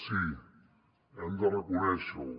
sí hem de reconèixer ho